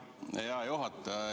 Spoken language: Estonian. Hea juhataja!